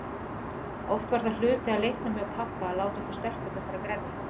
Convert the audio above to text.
Oft var það hluti af leiknum hjá pabba að láta okkur stelpurnar fara að grenja.